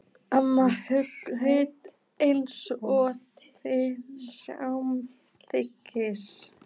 Amma hraut eins og til samþykkis.